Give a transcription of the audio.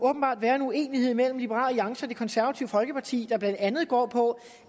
være en uenighed mellem liberal alliance og det konservative folkeparti der blandt andet går på